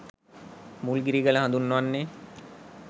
මුල්ගිරිගල හඳුන්වන්නේ